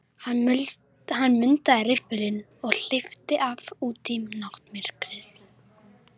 Hann mundaði riffilinn og hleypti af út í náttmyrkrið.